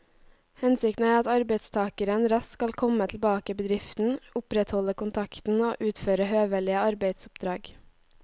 Hensikten er at arbeidstakeren raskt skal komme tilbake i bedriften, opprettholde kontakten og utføre høvelige arbeidsoppdrag.